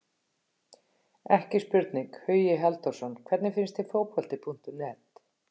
Ekki spurning, Hugi Halldórsson Hvernig finnst þér Fótbolti.net?